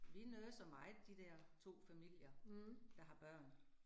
Vi nurser meget de der 2 familier, der har børn